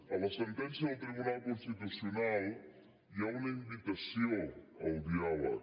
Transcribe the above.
a la sentència del tribunal constitucional hi ha una invitació al diàleg